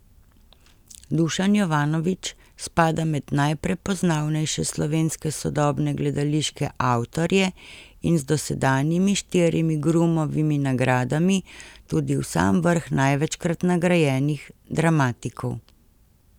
Dušan Jovanović spada med najprepoznavnejše slovenske sodobne gledališke avtorje in z dosedanjimi štirimi Grumovimi nagradami tudi v sam vrh največkrat nagrajenih dramatikov.